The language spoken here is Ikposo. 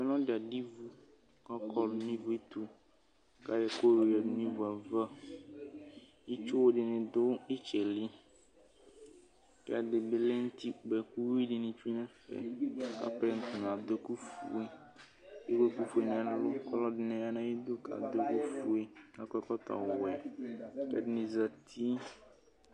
Ɔlɔdi adʋ ivu kʋ ɔkɔ nʋ ivuɛtʋ kʋ ayɔ ɛkʋ yadʋ nʋ ivuava itsuwʋ dini dʋ itsɛli kʋ ɛdibi lɛnʋ ʋtikpa kʋ uwi dini tsue nʋ ɛfɛ atani kʋ apɛnɔ yɛ adʋ ɛkʋfue kʋ ewʋ ɛkʋfue nʋ ɛlʋ kʋ alʋɛdini yanʋ ayidʋ kʋ adʋ ɛkʋfue kʋ akɔ ɛkɔtɔwɛ kʋ ɛdini zati